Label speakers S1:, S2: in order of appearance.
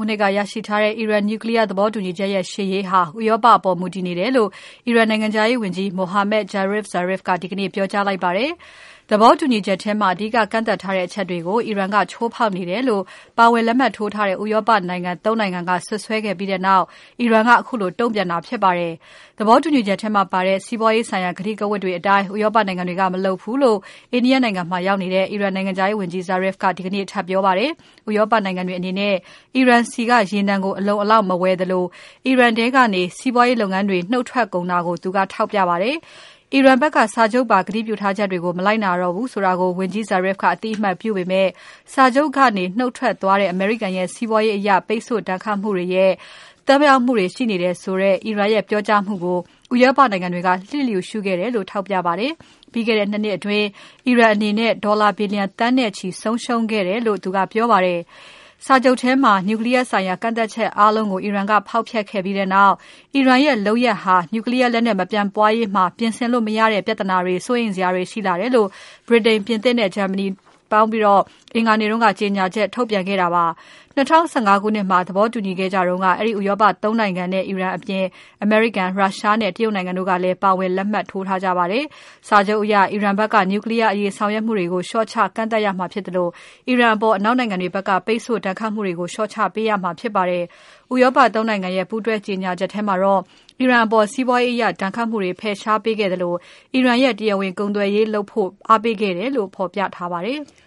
S1: ုနှစ်ကရရှိထားတဲ့ အီရန် Nuclear သဘောတူညီချက်ရဲ့ ရှေ့ရေးဟာ ဥရောပအပေါ် မူတည်နေတယ်လို့ အီရန်နိုင်ငံခြားရေးဝန်ကြီး Mohammad Javad Zarif ကဒီကနေ့ ပြောကြားလိုက်ပါတယ်။ သဘောတူညီမှုထဲမှာ အဓိကကန့်သတ်ထားတဲ့ အချက်တွေကို အီရန်က ချိုးဖောက်နေတယ်လို့ ပါဝင်လက်မှတ်ထိုးထားတဲ့ ဥရောပ ၃ နိုင်ငံက စွပ်စွဲခဲ့ပြီးနောက် အီရန်က ခုလိုတုံ့ပြန်လိုက်တာဖြစ်ပါတယ်။ ဘဘောတူချက်ထဲမှာပါတဲ့ စီးပွားရေးဆိုင်ရာ ကတိကဝတ်တွေအတိုင်း ဥရောပနိုင်ငံတွေက မလုပ်ဘူးလို့ India နိုင်ငံမှာရောက်နေတဲ့ အီရန်နိုင်ငံခြားရေးဝန်ကြီး Zarif ကဒီကနေ့ ထပ်ပြောပါတယ်။ ဥရောပနိုင်ငံတွေအနေနဲ့ အီရန်ဆီက ရေနံကို အလုံအလောက် မဝယ်သလို၊ အီရန်ထဲကနေ စီးပွားရေးလုပ်ငန်းတွေ နုတ်ထွက်ကုန်တာကို သူကထောက်ပြပါတယ်။ အီရန်ဘက်က စာချုပ်ပါ ကတိပြုထားချက်တွေကို မလိုက်နာတော့ဘူးဆိုတာကို ဝန်ကြီး Azrif ကအသိအမှတ်ပြုပေမဲ့ စာချုပ်ကနေ နုတ်ထွက်သွားတဲ့ အမေရိကန်ရဲ့ စီးပွားရေးအရ ပိတ်ဆို့ဒဏ်ခတ်မှုတွေရဲ့ သက်ရောက်မှုတွေရှိနေတယ်ဆိုတဲ့ အီရန်ရဲ့ပြောကြားမှုကို ဥရောပနိုင်ငံတွေက လှစ်လျူရှုခဲ့ကြတယ်လို့ ထောက်ပြပါတယ်။ ပြီးခဲ့တဲ့ ၂ နှစ်အတွင်း အီရန်အနေနဲ့ ဒေါ်လာ ဘီလျံ သန်းနဲ့ချီ ဆုံးရှုံးခဲ့ကြတယ်လို့ သူကပြောပါတယ်။ စာချုပ်ထဲမှာ Nuclear ဆိုင်ရာ ကန့်သတ်ထားချက်အားလုံးကို အီရန်က ဖောက်ဖျက်ခဲ့ပြီးနောက် အီရန်ရဲ့လုပ်ရပ်ဟာ Nuclear လက်နက် မပျံ့ပွားရေးမှာ ပြင်ဆင်လို့မရတဲ့ ပြဿနာတွေ၊ စိုးရိမ်စရာတွေရှိလာတယ်လို့ ဗြိတိန်၊ ပြင်သစ်နဲ့ ဂျာမနီနိုင်ငံပေါင်းပြီး အင်္ဂါနေ့က ကြေညာချက် ထုတ်ပြန်ခဲ့ကြတာပါ။ ၂၀၁၅ ခုနှစ်မှာ သဘောတူခဲ့ကြတုန်းက အဲဒီ ဥရောပ ၃ နိုင်ငံနဲ့ အီရန်အပြင်၊ အမေရိကန်၊ ရုရှားနဲ့ တရုတ်နိုင်ငံတို့ကလည်း ပါဝင်လက်မှတ်ထိုးခဲ့ကြပါတယ်။ စာချုပ်အရ အီရန်ဘက်က Nuclear အရေးဆောင်ရွက်မှုတွေကို လျှော့ချ၊ ကန့်သတ်ရမှာဖြစ်သလို အီရန်အပေါ် အနောက်နိုင်ငံတွေဘက်က ပိတ်ဆို့ ဒဏ်ခတ်မှုတွေကို လျှော့ချပေးရမှာဖြစ်ပါတယ်။ ဥရောပ ၃ နိုင်ငံရဲ့ ပူးတွဲကြေညာချက်ထဲမှာတော့ အီရန်အပေါ် စီးပွားရေးအရ ဒဏ်ခတ်မှုတွေ ဖယ်ရှားပေးခဲ့သလို အီရန်နဲ့ တရားဝင်ကုန်သွယ်ရေးလုပ်ဖို့ အားပေးခဲ့တယ်လို့ ဖော်ပြထားပါတယ်။